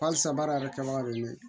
Halisa baara yɛrɛ kɛbaga de me yen